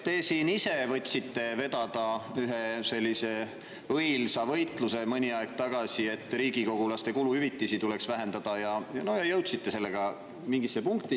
Te ise võtsite mõni aeg tagasi vedada ühe sellise õilsa võitluse, et riigikogulaste kuluhüvitisi tuleks vähendada, ja jõudsite sellega mingisse punkti.